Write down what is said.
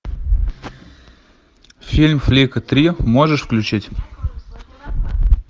фильм флика три можешь включить